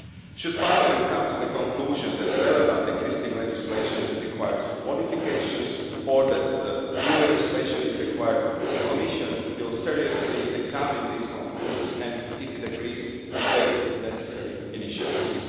Should Parliament come to the conclusion that the relevant existing legislation requires modifications, or that new legislation is required, the Commission will seriously examine these conclusions and, if it agrees, will take the necessary initiatives.